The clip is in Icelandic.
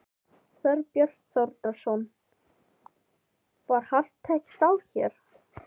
Þorbjörn Þórðarson: Var hart tekist á hér?